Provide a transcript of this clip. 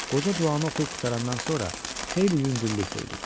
Qoca duanı oxuyub qurtarandan sonra xeyli yüngüllük duydu.